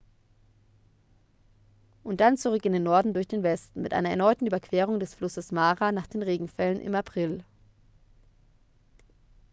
und dann zurück in den norden durch den westen mit einer erneuten überquerung des flusses mara nach den regenfällen im april